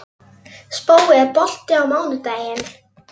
Spói, er bolti á mánudaginn?